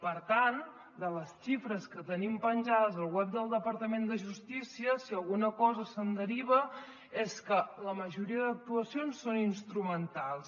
per tant de les xifres que tenim penjades al web del departament de justícia si alguna cosa se’n deriva és que la majoria d’actuacions són instrumentals